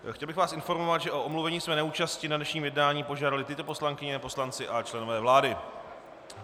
Chtěl bych vás informovat, že o omluvení své neúčasti na dnešním jednání požádaly tyto poslankyně, poslanci a členové vlády.